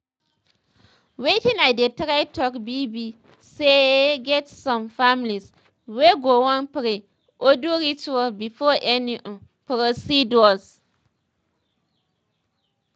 wetin i dey try talk be be saye get some families wey go wan pray or do ritual before any um procedure